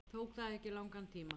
Tók það ekki langan tíma?